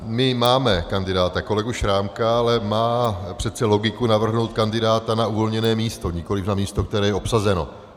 My máme kandidáta kolegu Šrámka, ale má přece logiku navrhnout kandidáta na uvolněné místo, nikoliv na místo, které je obsazeno.